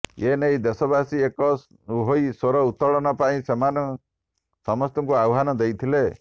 ଏନେଇ ଦେଶବାସୀ ଏକ ହୋଇ ସ୍ୱର ଉତ୍ତୋଳନ ପାଇଁ ସେମାନେ ସମସ୍ତଙ୍କୁ ଆହ୍ୱାନ ଦେଇଥିଲେ